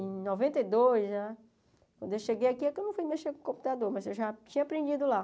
Em noventa e dois, já quando eu cheguei aqui, é que eu fui mexer com o computador, mas eu já tinha aprendido lá.